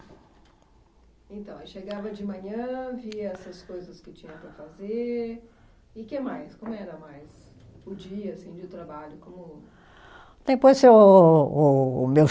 Então, aí chegava de manhã, via essas coisas que tinha para fazer, e que mais? Como era mais? O dia assim de trabalho, como? Depois o o meu